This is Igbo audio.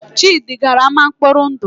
Chidi gara ámá nkpọri ndụ